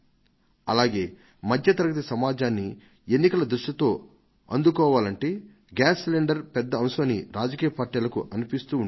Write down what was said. అలాగే మధ్య తరగతి సమాజాన్ని ఎన్నికల దృష్టితో అందుకోవాలంటే గ్యాస్ సిలిండర్ పెద్ద అంశం అని రాజకీయ పార్టీలకు అనిపిస్తూ ఉండేది